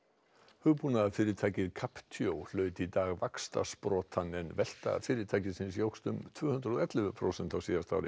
hugbúnaðarfyrirtækið hlaut í dag vaxtarsprotann en velta fyrirtækisins jókst um tvö hundruð og ellefu prósent á síðasta ári